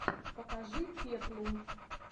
покажи пеплум